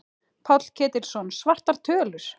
Páll Ketilsson: Svartar tölur?